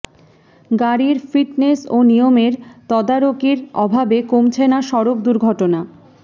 গাড়ির ফিটনেস ও নিয়মের তদারকির অভাবে কমছে না সড়ক দুর্ঘটনা